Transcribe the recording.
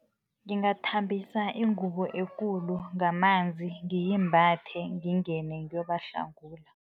Ngingathambisa ingubo ekulu ngamanzi ngiyimbathe ngingene ngiyobahlangula.